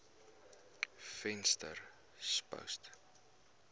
venterspost